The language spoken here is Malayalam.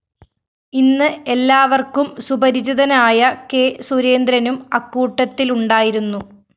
ഇന്ന് എല്ലാവര്‍ക്കും സുപരിചിതനായ കെ സുരേന്ദ്രനും അക്കൂട്ടത്തിലുണ്ടായിരുന്നു